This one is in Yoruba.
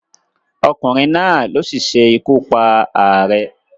Ọkùnrin náà ló sisé ikú pa ààrẹ